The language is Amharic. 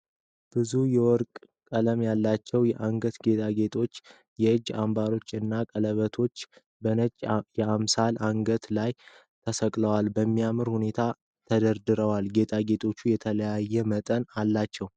ብዙ የወርቅ ቀለም ያላቸው የአንገት ጌጣጌጦች፣ የእጅ አምባሮች እና ቀለበቶች በነጭ የአምሳል አንገት ላይ ተሰቅለው በሚያምር ሁኔታ ተሰድረዋል። ጌጣጌጦቹ የተለያየ መጠን አላቸው።